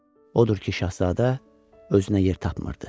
Odur ki, şahzadə özünə yer tapmırdı.